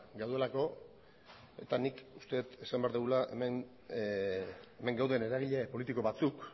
gaudelako eta nik uste dut esan behar dugula hemen gauden eragile politiko batzuk